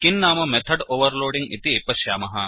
किं नाम method overloading इति पश्यामः